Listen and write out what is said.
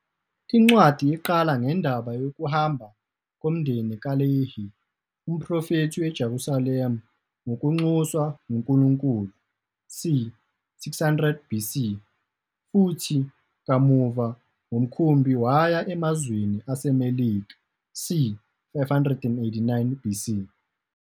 Incwadi iqala ngendaba yokuhamba komndeni kaLehi, umprofethi, eJerusalema ngokunxuswa nguNkulunkulu c. 600 BC, futhi kamuva ngomkhumbi waya emazweni aseMelika c. 589 BC.